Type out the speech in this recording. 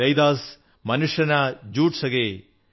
രൈദാസ് മനുഷ നാ ജുഡ് സകേ